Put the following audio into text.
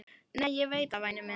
Nei, ég veit það, væni minn.